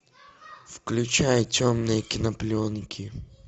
включай темные кинопленки